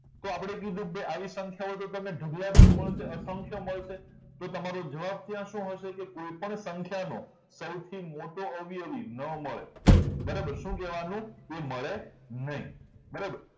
તો આપણે કીધું કે આવી સંખ્યાઓ ઢગલાબંધ મડસે અસંખ્ય મળશે તો તમારો જવાબ ત્યાં શું હશે કે કોઈપણ સંખ્યાનો સૌથી મોટો અવિયવી ન મળે બરાબર શું કહેવાનું કે મળે નહીં બરાબર